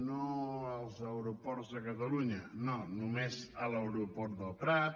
no als aeroports de catalunya no només a l’aeroport del prat